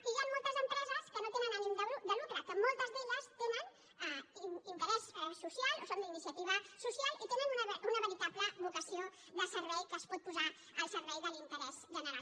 i hi ha moltes empreses que no tenen ànim de lucre que moltes d’elles tenen interès social són d’iniciativa social i tenen una veritable vocació de servei que es pot posar al servei de l’interès general